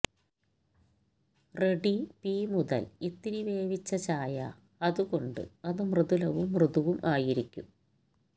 ready പി മുതൽ ഇത്തിരി വേവിച്ച ചായ അതുകൊണ്ട് അത് മൃദുലവും മൃദുവും ആയിരിക്കും